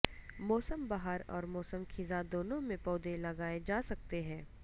موسم بہار اور موسم خزاں دونوں میں پودے لگائے جا سکتے ہیں